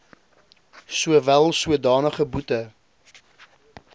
sowel sodanige boete